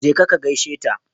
Jeka ka gaishe ta.